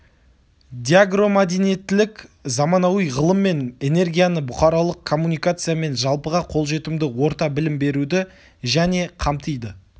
деагромәдениеттілік заманауи ғылым мен энергияны бұқаралық коммуникация мен жалпыға қолжетімді орта білім беруді және қамтиды